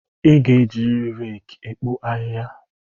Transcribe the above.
I ga-ejiriri reeki ekpo ahịhịa